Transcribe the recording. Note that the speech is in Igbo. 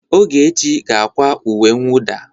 Ogechi ga-akwa uwe mwụda.